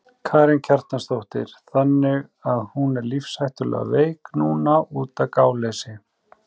Karen Kjartansdóttir: Þannig að hún er lífshættulega veik núna útaf gáleysi?